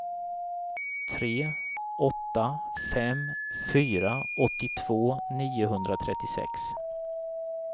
tre åtta fem fyra åttiotvå niohundratrettiosex